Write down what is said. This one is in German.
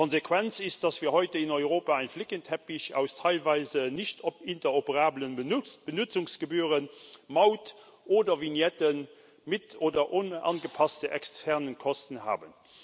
Die Konsequenz ist, dass wir heute in Europa einen Flickenteppich aus teilweise nicht interoperablen Benutzungsgebühren, Maut oder Vignetten mit oder ohne angepasste externe Kosten haben.